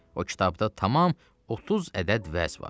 O kitabda tamam 30 ədəd vəz var.